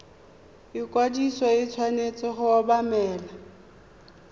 ikwadiso e tshwanetse go obamelwa